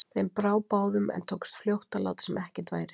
Þeim brá báðum, en tókst fljótt að láta sem ekkert væri.